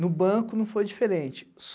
No banco não foi diferente.